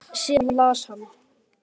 Síðan las hann